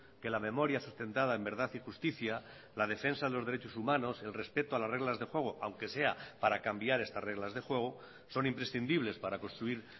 que la memoria sustentada en verdad y justicia la defensa de los derechos humanos el respeto a las reglas de juego aunque sea para cambiar estas reglas de juego son imprescindibles para construir